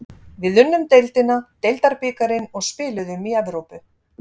Við unnum deildina, deildabikarinn og spiluðum í Evrópu.